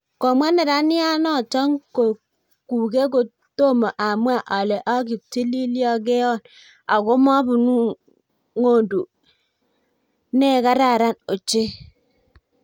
komwa neranato kuke tomo amwa alee akipitililgeyon ako mabunu ngonduu nee kararan ochei